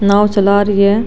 नाव चला री है।